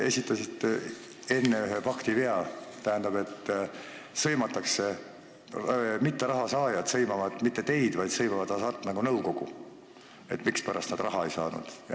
Te esitasite enne ühe faktivea, tähendab, need, kes raha ei saa, ei sõima mitte teid, vaid nad sõimavad Hasartmängumaksu Nõukogu, et mispärast nad raha ei saanud.